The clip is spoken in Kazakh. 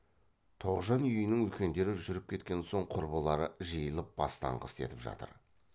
тоғжан үйінің үлкендері жүріп кеткен соң құрбылары жиылып бастаңғы істетіп жатыр